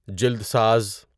جلد ساز